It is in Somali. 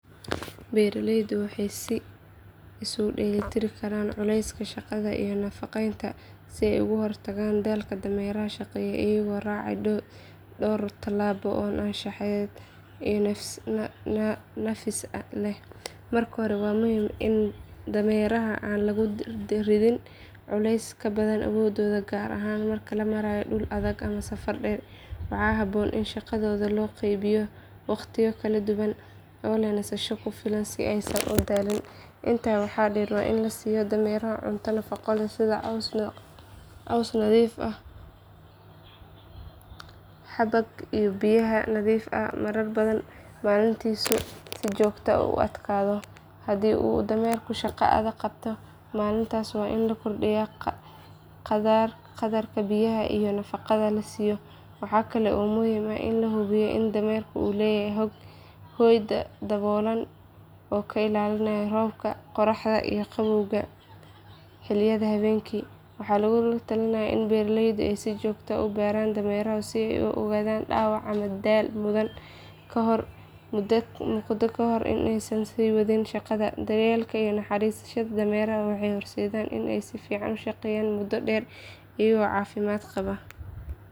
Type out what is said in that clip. Beeraleydu waxay isu dheelitiri karaan culayska shaqada iyo nafaqaynta si ay uga hortagaan daalka dameeraha shaqeeya iyagoo raacaya dhowr tallaabo oo anshaxeed iyo nafis leh. Marka hore waa muhiim in dameeraha aan lagu ridin culays ka badan awooddooda gaar ahaan marka la marayo dhul adag ama safar dheer. Waxaa habboon in shaqadooda loo qaybiyo waqtiyo kala duwan oo leh nasasho ku filan si aysan u daalin. Intaa waxaa dheer waa in la siiyo dameeraha cunto nafaqo leh sida caws nadiif ah, xabag iyo biyaha nadiif ah marar badan maalintii si jidhkoodu u adkaado. Haddii uu dameerku shaqo adag qabto maalintaas waa in la kordhiyo qadarka biyaha iyo nafaqada la siiyo. Waxaa kale oo muhiim ah in la hubiyo in dameerka uu leeyahay hoy daboolan oo ka ilaalinaya roobka, qorraxda iyo qabowga xilliyada habeenkii. Waxaa lagu talinayaa in beeraleydu ay si joogto ah u baaraan dameeraha si ay u ogaadaan dhaawac ama daal muuqda kahor inta aysan sii wadin shaqada. Daryeelka iyo u naxariisashada dameeraha waxay horseeddaa inay si fiican u shaqeeyaan muddo dheer iyagoo caafimaad qaba.